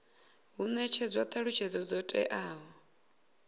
hu netshedzwa thalutshedzo dzo teaho